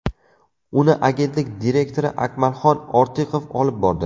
Uni agentlik direktori Akmalxon Ortiqov olib bordi.